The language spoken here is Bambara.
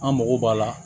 An mago b'a la